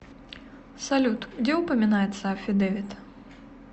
салют где упоминается аффидевит